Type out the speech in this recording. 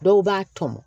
Dɔw b'a tɔmɔ